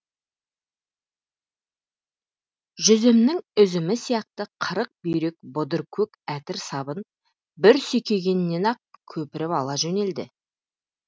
жүзімнің үзімі сияқты қырық бүйрек бұдыр көк әтір сабын бір сүйкегеннен ақ көпіріп ала жөнелді